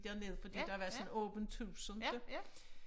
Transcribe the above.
Derned fordi der var sådan åbent hus inte